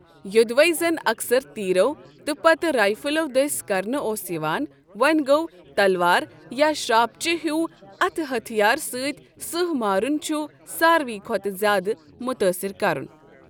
یوٚدوے زَن اکثر تیرو تہٕ پتہٕ رائفلو دٔسۍ کرنہٕ اوس یِوان وۅں گوٚو تلوار یا شراپٕچہِ ہِویو اتھٕ ہتھیار ستۍ سٕہہ مارُن چھُ ساروےٕ کھۅتہٕ زیادٕ مُتٲثر کرُن۔